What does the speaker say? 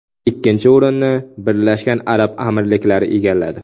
Ikkinchi o‘rinni Birlashgan Arab Amirliklari egalladi.